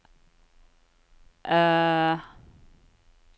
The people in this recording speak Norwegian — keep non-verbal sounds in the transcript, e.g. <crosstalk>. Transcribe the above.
<hesitation>